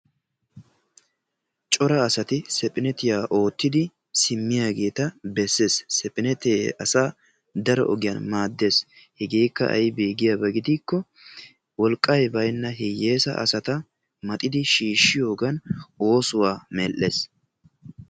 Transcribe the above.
Cora asati seppinetiya oottidi simmiyageeta bessees. Seppinetee asa daro ogiyan maaddees. Hegeekka aybee giyaba gidikko wolqqay baynna hiyyeesa asata maxidi shiishshiyogan oosuwa mel''ees.